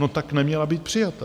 No tak neměla být přijata.